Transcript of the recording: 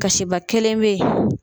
Kasiba kelen be yen